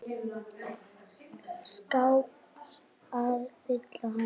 skáps að fylla hann.